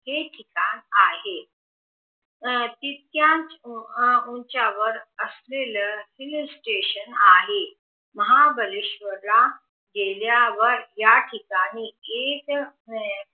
हे ठिकाण आहे तितक्याच उंचावर असलेलं हिलस्टेशन आहे महाबळेशवर ला गेल्यावर याठिकाणी एक